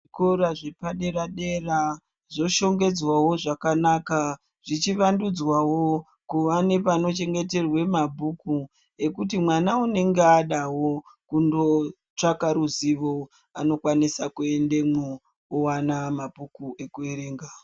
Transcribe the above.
Zvikora zvepadera dera zvoshongedzwa wo zvakanaka zvichivandudzwa wo kuva nepano chengeterwa mabhuku ekuti mwana anenge adawo kuno tsvakawo ruzivo anokwanisa kuendemwo owana mabhuku okuverenga.